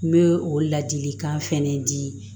N bɛ o ladilikan fɛnɛ dii